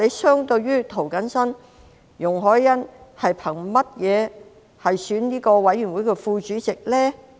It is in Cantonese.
相對於涂謹申，容海恩憑甚麼參選委員會的副主席呢？